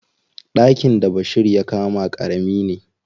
Ɗakin da Bashir ya kama ƙarami ne.